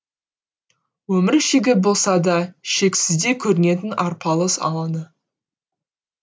өмір шегі болса да шексіздей көрінетін арпалыс алаңы